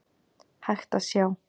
hægt að sjá.